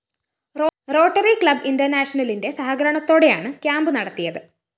rotary Club ഇന്റര്‍നാഷണലിന്റെ സഹകരണത്തോടെയാണ് camp നടത്തിയത്